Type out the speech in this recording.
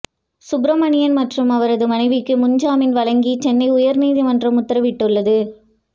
சுப்பிரமணியன் மற்றும் அவரது மனைவிக்கு முன்ஜாமீன் வழங்கி சென்னை உயர்நீதிமன்றம் உத்தரவிட்டுள்ளது